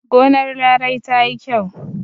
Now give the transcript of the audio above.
Gonar Larai ta yi kyau.